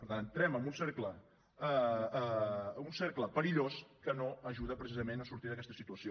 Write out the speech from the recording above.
per tant entrem en un cercle perillós que no ajuda precisament a sortir d’aquesta situació